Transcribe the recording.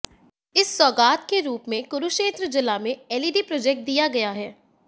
इस सौगात के रूप में कुरुक्षेत्र जिला में एलईडी प्रोजेक्ट दिया गया है